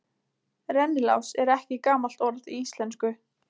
Rennilás er ekki gamalt orð í íslensku.